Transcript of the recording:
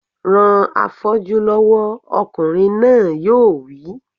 Ran afọ́jú lọ́wọ́! Ọkùnrin náà yóò wí